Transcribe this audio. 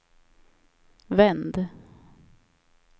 vänd